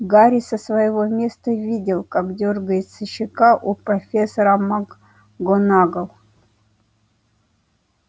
гарри со своего места видел как дёргается щека у профессора макгонагалл